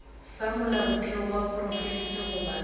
sa molaotheo wa profense goba